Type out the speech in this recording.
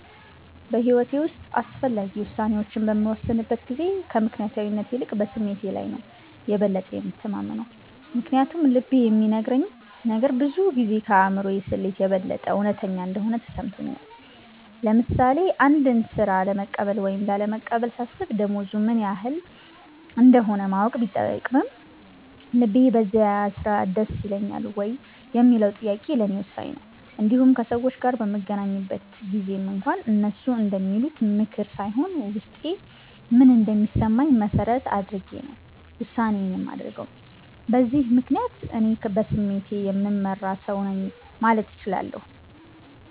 በሕይወቴ ውስጥ አስፈላጊ ውሳኔዎችን በምወስንበት ጊዜ ከምክንያታዊነት ይልቅ በስሜቴ ላይ ነው የበለጠ የምተማመነው። ምክንያቱም ልቤ የሚነግረኝ ነገር ብዙ ጊዜ ከአእምሮ ስሌት የበለጠ እውነተኛ እንደሆነ ተሰምቶኛል። ለምሳሌ አንድን ሥራ ለመቀበል ወይም ላለመቀበል ሳስብ፣ ደሞዙ ምን ያህል እንደሆነ ማወቅ ቢጠቅምም፣ ልቤ በዚያ ሥራ ደስ ይለኛል ወይ የሚለው ጥያቄ ለእኔ ወሳኝ ነው። እንዲሁም ከሰዎች ጋር በምገናኝበት ጊዜም እንኳ፣ እነሱ እንደሚሉት ምክር ሳይሆን ውስጤ ምን እንደሚሰማኝ መሠረት አድርጌ ነው ውሳኔዬን የማደርገው። በዚህ ምክንያት፣ እኔ በስሜቴ የምመራ ሰው ነኝ ማለት እችላለሁ።